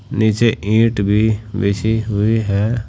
नीचे ईंट भी बिछी हुई है।